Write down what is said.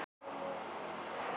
Þetta var búðarsulta.